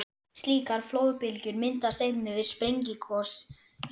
Slíkar flóðbylgjur myndast einnig við sprengigos í sjó.